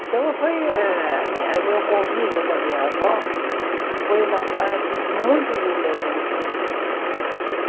Então, foi eh a minha meu convívio com a minha avó foi uma parte muito linda da minha infância.